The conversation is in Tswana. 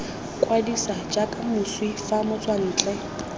kwadisa jaaka moswi fa motswantle